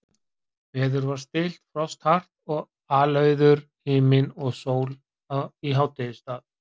Veður var stillt, frost hart, alauður himinn og sól í hádegisstað.